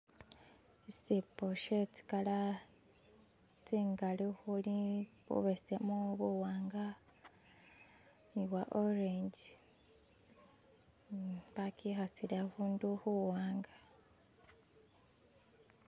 Ishibbo she zikala zingali ukuli bubesemu, buwanga ni bwa orenji. Bakikasile ukuntu kuwanga